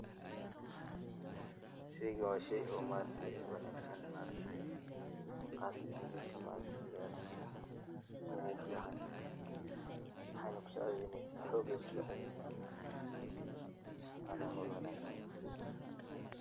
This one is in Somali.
Sheygan waa shey oo ma aragte oo wanaagsan ma aragte qaasatan jirka ma aragte bini adamka u fican maxayna kusaacideyneysa xoog ay kusaacideyneysa wana howl wanaagsan